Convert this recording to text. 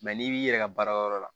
Mɛ n'i b'i yɛrɛ baarayɔrɔ la